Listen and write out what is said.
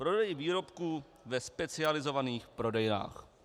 Prodej výrobků ve specializovaných prodejnách.